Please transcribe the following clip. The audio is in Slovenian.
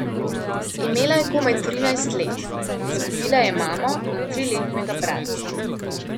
Imela je komaj trinajst let, izgubila je mamo in triletnega bratca.